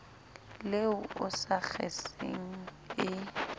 le o sa kgeseng e